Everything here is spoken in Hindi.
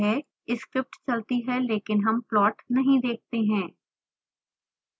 स्क्रिप्ट चलती है लेकिन हम प्लॉट नहीं देखते हैं